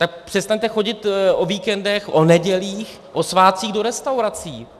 Tak přestaňte chodit o víkendech, o nedělích, o svátcích do restaurací.